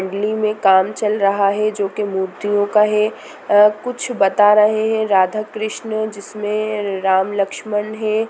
मंडली में काम चल रहा है| जो की मूर्तियों का है कुछ बता रहै हैं राधा कृष्णा जिसमें राम लक्ष्मण हैं।